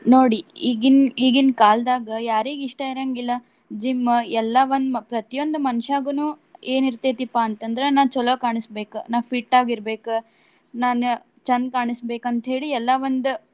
ನೋಡಿ ಈಗಿನ್ ಈಗಿನ್ ಕಾಲ್ದಾಗ ಯಾರಿಗ್ ಇಷ್ಟ ಇರಾಂಗಿಲ್ಲಾ gym ಎಲ್ಲಾ ಒಂದ್ ಮ~ ಪ್ರತಿಯೊಂದು ಮನಷ್ಯಾಗನು ಏನ್ ಇರ್ತೆತಿಪಾ ಅಂತ ಅಂದ್ರ ನಾ ಚಲೋ ಕಾಣಸಬೇಕ್. ನಾ fit ಆಗಿ ಇರ್ಬೆಕ್. ನಾನ್ ಚಂದ್ ಕಾಣಿಸ್ಬೇಕ್ ಅಂತ ಹೇಳಿ ಎಲ್ಲಾ ಒಂದ್.